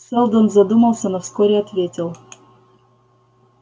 сэлдон задумался но вскоре ответил